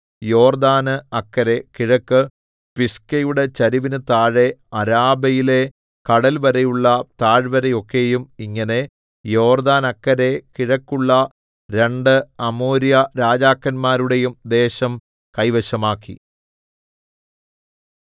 യോർദ്ദാന് അക്കരെ കിഴക്ക് പിസ്ഗയുടെ ചരിവിന് താഴെ അരാബയിലെ കടൽവരെയുള്ള താഴ്വര ഒക്കെയും ഇങ്ങനെ യോർദ്ദാനക്കരെ കിഴക്കുള്ള രണ്ട് അമോര്യ രാജാക്കന്മാരുടേയും ദേശം കൈവശമാക്കി